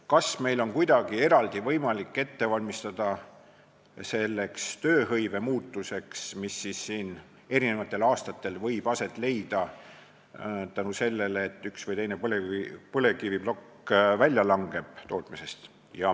Kas meil on võimalik kuidagi eraldi valmistuda tööhõivemuutuseks, mis eri aastatel võib aset leida, kui üks või teine põlevkiviplokk tootmisest välja langeb?